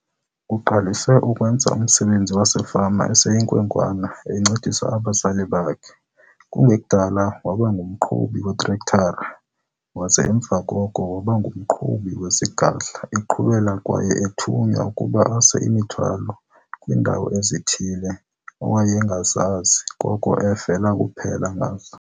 Uqalise ukwenza umsebenzi wasefama eseyinkwenkwana encedisa abazali bakhe. Kungekudala waba ngumqhubi weetrektara waze emva koko waba ngumqhubi wezigadla eqhubela kwaye ethunywa ukuba ase imithwalo kwiindawo ezithile awayengazazi koko evele kuphela ngazo.